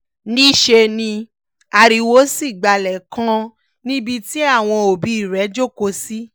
níṣẹ́ ni ariwo sì gbalẹ̀ kan níbi tí àwọn òbí rẹ̀ jókòó sí